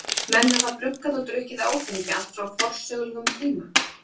Menn hafa bruggað og drukkið áfengi allt frá forsögulegum tíma.